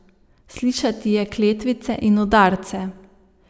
Slišati je kletvice in udarce.